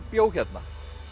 bjó hérna